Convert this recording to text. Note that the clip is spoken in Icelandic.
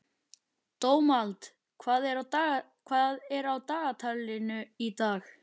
Dómald, hvað er á dagatalinu í dag?